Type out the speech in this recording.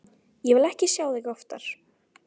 Ég vil ekki sjá þig oftar.